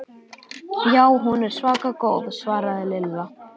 Já, hún er svaka góð svaraði Lilla.